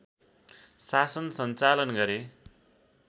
शासन सञ्चालन गरे